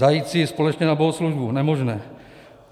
Zajít si společně na bohoslužbu, nemožné.